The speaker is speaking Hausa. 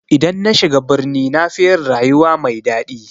I dan nashiga birni nafi yin rayuwa mai daɗi.